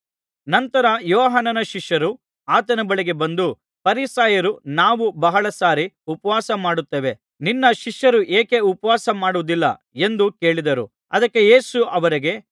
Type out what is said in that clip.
ನಂತರ ಯೋಹಾನನ ಶಿಷ್ಯರು ಆತನ ಬಳಿಗೆ ಬಂದು ಫರಿಸಾಯರೂ ನಾವೂ ಬಹಳಸಾರಿ ಉಪವಾಸಮಾಡುತ್ತೇವೆ ನಿನ್ನ ಶಿಷ್ಯರು ಏಕೆ ಉಪವಾಸ ಮಾಡುವುದಿಲ್ಲ ಎಂದು ಕೇಳಿದರು ಅದಕ್ಕೆ ಯೇಸು ಅವರಿಗೆ